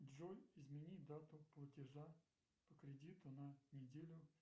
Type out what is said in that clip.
джой измени дату платежа по кредиту на неделю